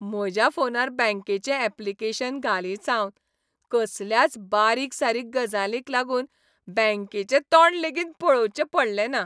म्हज्या फोनार बँकेचे ऍप्लिकेशन घालीतसावन, कसल्याच बारीक सारीक गजालींक लागून बँकेचे तोंड लेगीत पळोवचें पडलें ना.